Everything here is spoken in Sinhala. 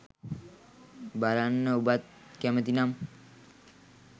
බලන්න ඔබත් කැමතිනම්